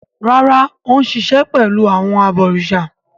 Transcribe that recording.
Rárá, Ó ń sisẹ̀ pẹ̀lú àwọn “ abọ̀rìsà”.